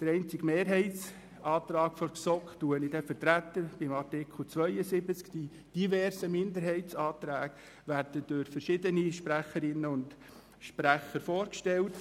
Den einzigen Mehrheitsantrag der GSoK werde ich bei Artikel 72 vertreten, die verschiedenen Minderheitsanträge werden durch verschiedene Sprecherinnen und Sprecher vorgestellt.